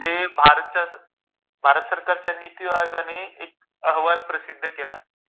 की ते भारतच्या भरत सरकारच्या निती आयोगाने एक अहवाल प्रसिद्ध केला...